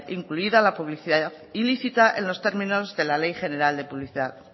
incluida la publicidad ilícita en los términos de la ley general de publicidad